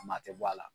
Ma tɛ bɔ a la